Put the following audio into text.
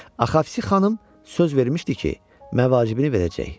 Axavsi xanım söz vermişdi ki, məvacibini verəcək.